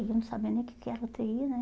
Eu não sabendo o que que era u tê i, né?